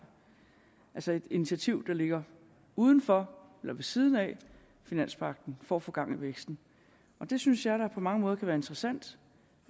altså et initiativ der ligger uden for eller ved siden af finanspagten for at få gang i væksten det synes jeg da på mange måder kan være interessant